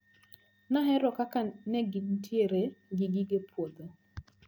Nahero kaka negintiere gi gige puodho.